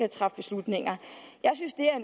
at træffe beslutninger jeg